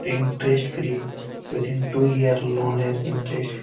Tin test free with দিন two year লোনের interest free.